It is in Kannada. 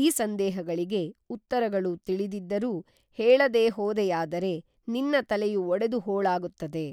ಈ ಸಂದೇಹಗಳಿಗೆ ಉತ್ತರಗಳು ತಿಳಿದಿ ದ್ದರೂ ಹೇಳದೇ ಹೋದೆಯಾದರೇ ನಿನ್ನ ತಲೆಯು ಒಡೆದು ಹೋಳಾಗುತ್ತದೆ